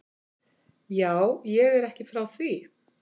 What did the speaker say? Já, ég er ekki frá því.